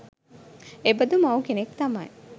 එබඳු මව් කෙනෙක් තමයි